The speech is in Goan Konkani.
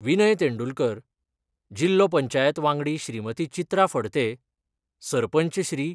विनय तेंडुलकर, जिल्हो पंचायत वांगडी श्रीमती चित्रा फडते, सरपंच श्री.